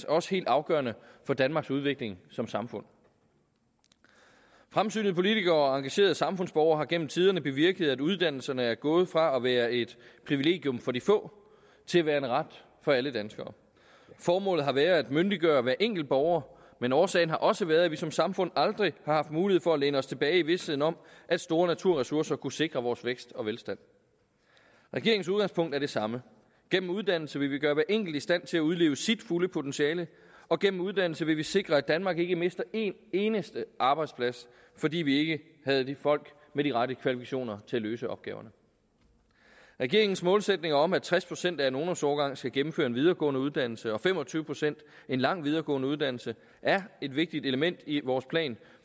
også helt afgørende for danmarks udvikling som samfund fremsynede politikere og engagerede samfundsborgere har gennem tiderne bevirket at uddannelserne er gået fra at være et privilegium for de få til at være en ret for alle danskere formålet har været at myndiggøre hver enkelt borger men årsagen har også været at vi som samfund aldrig har haft mulighed for at læne os tilbage i visheden om at store naturressourcer kunne sikre vores vækst og velstand regeringens udgangspunkt er det samme gennem uddannelse vil vi gøre hver enkelt i stand til at udleve sit fulde potentiale og gennem uddannelse vil vi sikre at danmark ikke mister en eneste arbejdsplads fordi vi ikke havde folk med de rette kvalifikationer til at løse opgaverne regeringens målsætning om at tres procent af en ungdomsårgang skal gennemføre en videregående uddannelse og fem og tyve procent en lang videregående uddannelse er et vigtigt element i vores plan